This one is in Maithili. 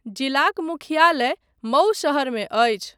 जिलाक मुख्यालय मऊ शहरमे अछि।